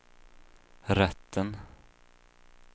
rätten